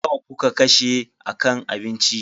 Nawa kuka kashe a kan abinci?